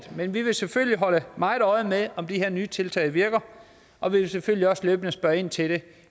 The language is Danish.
men vi vil selvfølgelig holde meget øje med om de her nye tiltag virker og vi vil selvfølgelig også løbende spørge ind til det